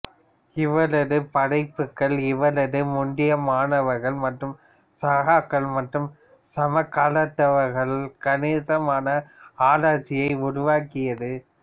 இவரது படைப்புகள் இவரது முந்தைய மாணவர்கள் மற்றும் சகாக்கள் மற்றும் சமகாலத்தவர்களால் கணிசமான ஆராய்ச்சியை உருவாக்கியது